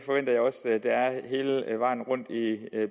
hele vejen rundt